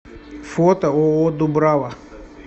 фото ооо дубрава